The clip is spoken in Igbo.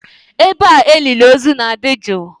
Ebe a elili ozu na-adị jụụ.